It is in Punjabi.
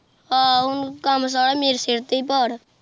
ਆਹੋ ਹੁਣ ਕੰਮ ਸਾਰਾ ਮੇਰੇ ਸਿਰ ਤੇ ਹੀ ਭਾਰ।